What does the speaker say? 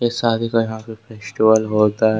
शादी का यहा पे फेस्टिवल होता--